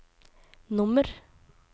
nummer